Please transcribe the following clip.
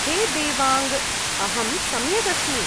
हे देवाङ्ग! अहं सम्यक् अस्मि।